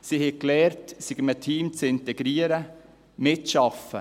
Sie haben gelernt, sich in einem Team zu integrieren und mitzuarbeiten.